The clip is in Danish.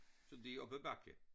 Så det op ad bakke